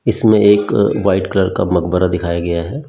इसमें एक white colour का मकबरा दिखाया गया है।